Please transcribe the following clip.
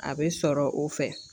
A be sɔrɔ o fɛ